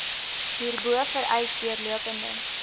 hierbo vereis deurlopende